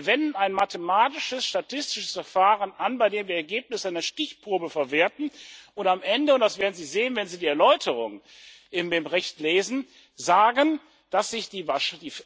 Wir wenden ein mathematisches statistisches Verfahren an, bei dem wir Ergebnisse einer Stichprobe verwerten und am Ende und das werden Sie sehen, wenn Sie die Erläuterungen in dem Bericht lesen sagen, dass sich die